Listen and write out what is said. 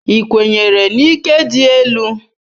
Ị kwenyere na ike dị elu?